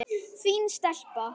Fín stelpa.